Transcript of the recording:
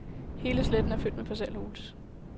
Hele sletten er fyldt med parcelhuse.